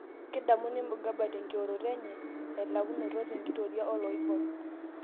Kedamuni Mugabe tenkioroto enye elakunoto tenkitoria oloibor